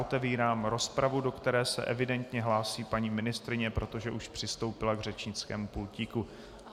Otevírám rozpravu, do které se evidentně hlásí paní ministryně, protože už přistoupila k řečnickému pultíku.